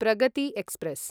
Pragati express